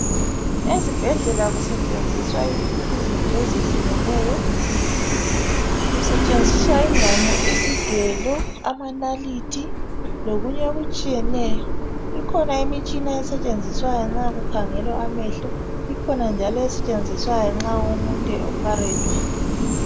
Ezibhedlela kusetshenziswa izinto ezehlukeneyo kusetshenziswa ingqamu, isigelo, amanalithi lokunye okutshiyeneyo ikhona imitshina esetshenziswayo nxa kukhangelwa amehlo ikhona njalo esetshenziswayo nxa umuntu e opharethwa.